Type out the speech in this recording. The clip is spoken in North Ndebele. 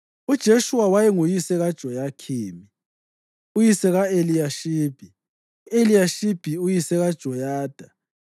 UJeshuwa wayenguyise kaJoyakhimu, uyise ka-Eliyashibi, u-Eliyashibi uyise kaJoyada,